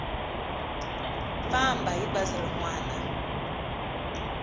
famba hi bazi rin wana